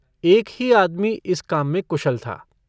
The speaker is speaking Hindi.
एक ही आदमी इस काम में कुशल था।